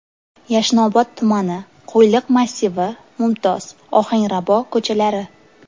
Yashnobod tumani: Qo‘yliq massivi, Mumtoz, Ohangrabo ko‘chalari.